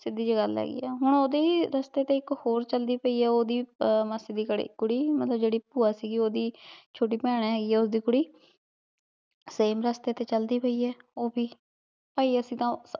ਸੀਡੀ ਜੀ ਗਲ ਹੇਗੀ ਆ ਹਨ ਓੜੀ ਰਸਤੇ ਤੇ ਏਇਕ ਹੋਰ ਚਲਦੀ ਪੈ ਆ ਓੜੀ ਮਾਸੀ ਦੀ ਕੁਰੀ ਮਤਲਬ ਜੇਰੀ ਹ੍ਬੁਆ ਸੀਗੀ ਓੜੀ ਚੋਟੀ ਪੈਣ ਹੇਗੀ ਆ ਓਸ੍ਦਿਦ ਕੁਰੀ same ਰਸਤੇ ਤੇ ਚਲਦੀ ਪੈ ਆ ਊ ਵੀ ਪੈ ਅਸੀਂ ਤਾਂ